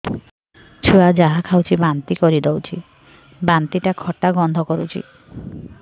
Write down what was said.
ଛୁଆ ଯାହା ଖାଉଛି ବାନ୍ତି କରିଦଉଛି ବାନ୍ତି ଟା ଖଟା ଗନ୍ଧ କରୁଛି